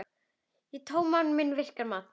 Á tóman maga virkar matar